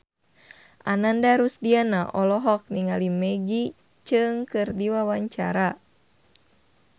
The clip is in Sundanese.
Ananda Rusdiana olohok ningali Maggie Cheung keur diwawancara